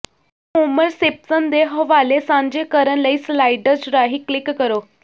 ਹੋਮਰ Simpson ਦੇ ਹਵਾਲੇ ਸਾਂਝੇ ਕਰਨ ਲਈ ਸਲਾਈਡਜ਼ ਰਾਹੀਂ ਕਲਿਕ ਕਰੋ